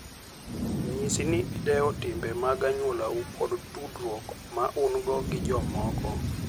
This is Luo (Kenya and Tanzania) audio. Nyis ni idewo timbe mag anyuolau kod tudruok ma un-go gi jomoko.